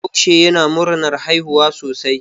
Bahaushe yana murnar haihuwa sosai.